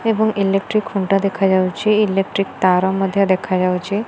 ଏବଂ ଇଲେକ୍ଟି ଖୁଣ୍ଟ ଦେଖାଯାଉଛି ଇଲେଟ୍ରି ତାର ମଧ୍ୟ ଦେଖାଯାଉଛି ।